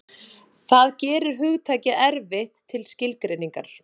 Það gerir hugtakið erfitt til skilgreiningar.